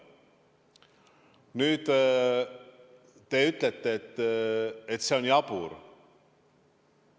Nüüd, te ütlete, et see on jabur.